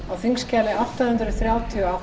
frú forseti ég leyfi mér að